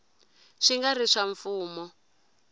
swi nga ri swa mfumo